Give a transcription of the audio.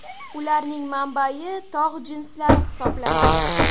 Ularning manbai tog‘ jinslari hisoblanadi.